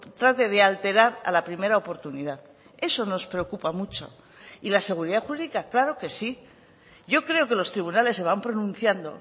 trate de alterar a la primera oportunidad eso nos preocupa mucho y la seguridad jurídica claro que sí yo creo que los tribunales se van pronunciando